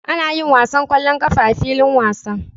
Ana yin wasan ƙwallon ƙafa a filin wasa.